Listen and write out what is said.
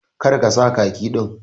Kar ka sa khaki din.